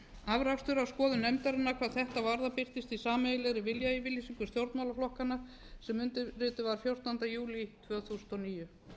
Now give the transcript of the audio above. afrakstur af skoðun nefndarinnar hvað átt varðar birtist í sameiginlegri viljayfirlýsingu stjórnmálaflokkanna sem undirrituð var fjórtánda júlí tvö þúsund og níu